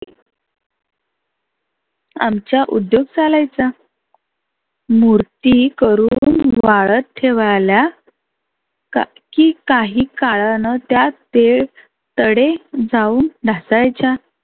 आमचा उद्योग चालायचा. मुर्ती करुण वाळत ठेवायला काय की काही काळानं त्यात तडे जाऊन त्या ढासळायच्या.